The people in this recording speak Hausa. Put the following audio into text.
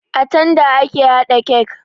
A tanda ake haɗa kek